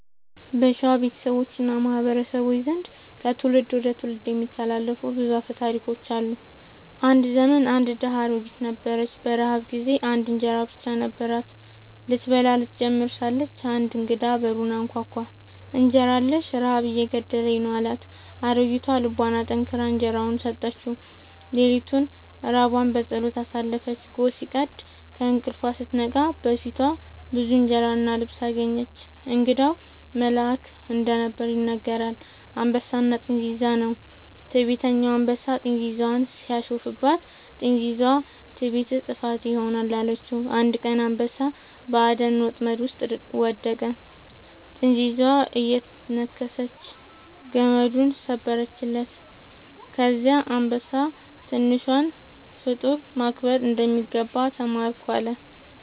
በሸዋ ቤተሰቦች እና ማህበረሰቦች ዘንድ ከትውልድ ወደ ትውልድ የሚተላለፉ ብዙ አፈ ታሪኮች አሉ። አንድ ዘመን አንድ ድሃ አሮጊት ነበረች። በረሃብ ጊዜ አንድ እንጀራ ብቻ ነበራት። ስትበላው ልትጀምር ሳለች አንድ እንግዳ በሩን አንኳኳ፤ «እንጀራ አለኝን? ረሃብ እየገደለኝ ነው» አላት። አሮጊቷ ልቧን አጠንክራ እንጀራዋን ሰጠችው። ሌሊቱን ራቧን በጸሎት አሳለፈች። ጎህ ሲቀድ ከእንቅልፏ ስትነቃ በፊቷ ብዙ እንጀራ እና ልብስ አገኘች። እንግዳው መልአክ እንደነበር ይነገራል። «አንበሳና ጥንዚዛ» ነው። ትዕቢተኛ አንበሳ ጥንዚዛን ሲያሾፍባት፣ ጥንዚዛዋ «ትዕቢትህ ጥፋትህ ይሆናል» አለችው። አንድ ቀን አንበሳ በአደን ወጥመድ ውስጥ ወደቀ፤ ጥንዚዛዋ እየነከሰች ገመዱን ሰበረችለት። ከዚያ አንበሳ «ትንሿን ፍጡር ማክበር እንደሚገባ ተማርኩ» አለ